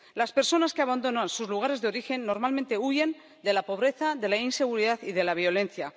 Las personas que abandonan sus lugares de origen normalmente huyen de la pobreza, de la inseguridad y de la violencia.